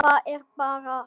Það er bara það.